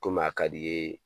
Komi a ka d'i yee